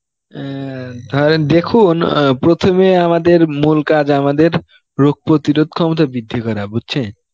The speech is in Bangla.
অ্যাঁ ধরেন দেখুন অ্যাঁ প্রথমে আমাদের মুল কাজ আমাদের, রোগ প্রতিরোধ ক্ষমতা বৃদ্ধি করা বুঝছেন